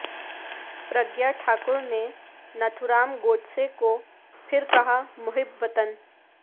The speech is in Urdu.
پر گیہ ٹھاکر نے ناتھو رام گوڈسے کو پھر کہا محب وطن